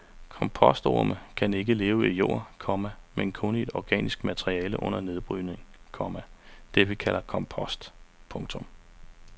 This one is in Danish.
Kompostorme kan ikke leve i jord, komma men kun i organisk materiale under nedbrydning, komma det vi kalder kompost. punktum